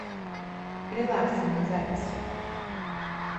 релакс ми запись